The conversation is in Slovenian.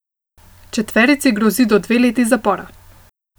Četverici grozi do dve leti zapora.